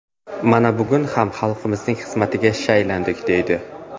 Mana, bugun ham xalqimizning xizmatiga shaylandik”, deydi.